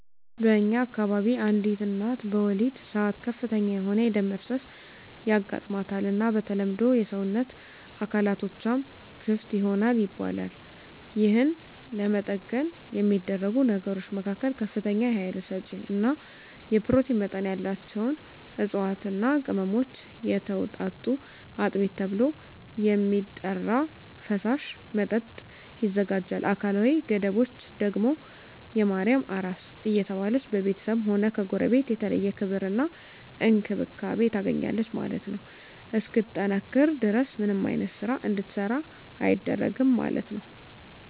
በእኛ አከባቢ አንዲት እናት በወሊድ ሰአት ከፍተኛ የሆነ የደም መፍሰስ ያጋማታል እና በተለምዶ የሰወነት አካላትቶችም ክፍት ይሆናል ይባላል የህን ለመጠገን የሚደረጉ ነገሮች መካከል ከፍተኛ የሀይል ሰጪ እና የኘሮቲን መጠን ያላቸውን እፅዋትና ቅመሞች የተወጣጡ አጥሚት ተብሎ የሚጠራራ ፈሳሽ መጠጥ ይዘጋጃል አካላዊ ገደቦች ደግም የማርያም አራስ እየተባለች በቤተስብም ሆነ ከጎረቤት የተለየ ክብር እና እንክብካቤ ታገኛለች ማለት ነው እስክትጠነክር ድረስ ምንም አይነት ስራ እንድትሰራ አይደረግም ማለት ነው።